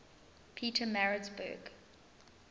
pietermaritzburg